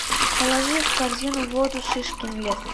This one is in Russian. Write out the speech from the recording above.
положи в корзину воду шишкин лес